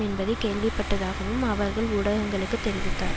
என்பதை கேள்விப்பட்டதாகவும் அவர் ஊடகங்களுக்கு தெரிவித்தார்